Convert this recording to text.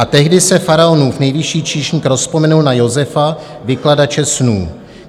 A tehdy se faraonův nejvyšší číšník rozpomenul na Josefa, vykladače snů.